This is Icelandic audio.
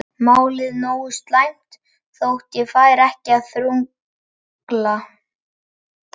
Málið nógu slæmt þótt ég færi ekki að þrugla.